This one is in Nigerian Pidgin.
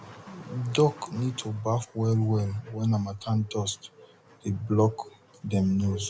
duck need to baf well well when harmattan dust dey block dem nose